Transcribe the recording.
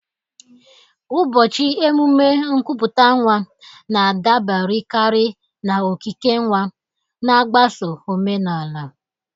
Ụbọchị emume nkupute nwa na-adaberekarị na okike nwa, na-agbaso omenala.